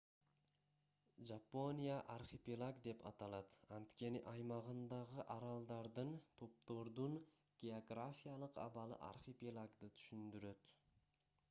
жапония архипелаг деп аталат анткени аймагындагы аралдардын/топтордун географиялык абалы архипелагды түшүндүрөт